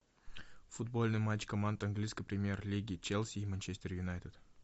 футбольный матч команд английской премьер лиги челси и манчестер юнайтед